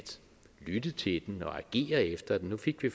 lytte til den og agere efter den nu fik vi